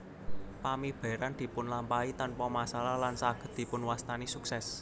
Pamiberan dipun lampahi tanpa masalah lan saged dipun wastani suksès